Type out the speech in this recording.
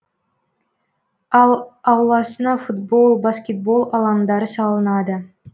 ал ауласына футбол баскетбол алаңдары салынады